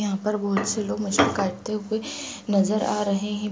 यहाँ पर बहुत से लोग मुझे करते हुए नजर आ रहे हैं ।